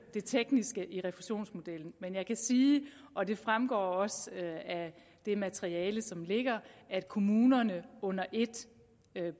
det tekniske i refusionsmodellen men jeg kan sige og det fremgår også af det materiale som ligger at kommunerne under et